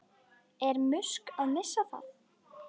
Er Musk að missa það?